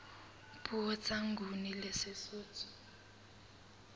puo tsa nguni le sesotho